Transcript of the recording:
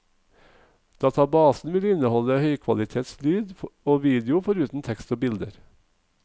Databasen vil inneholde høykvalitets lyd og video foruten tekst og bilder.